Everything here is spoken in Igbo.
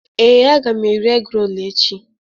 Ee, a ga m eri egi-rol echi.